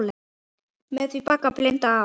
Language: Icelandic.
Með því bagga binda má.